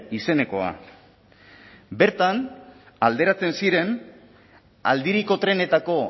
izenekoa bertan alderatzen ziren aldiriko trenetako